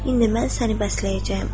İndi mən səni bəsləyəcəyəm.